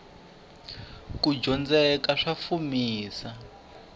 kudyondzeka sa fumisa